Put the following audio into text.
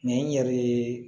Nin yɛrɛ ye